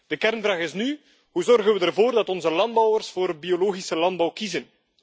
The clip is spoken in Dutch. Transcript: De kernvraag is nu hoe zorgen we ervoor dat onze landbouwers voor biologische landbouw kiezen?